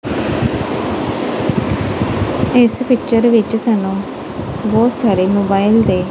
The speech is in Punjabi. ਇਸ ਪਿੱਚਰ ਵਿੱਚ ਸਾਨੂੰ ਬਹੁਤ ਸਾਰੇ ਮੋਬਾਈਲ ਦੇ--